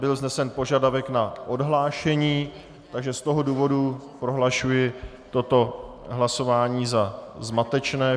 Byl vznesen požadavek na odhlášení, takže z toho důvodu prohlašuji toto hlasování za zmatečné.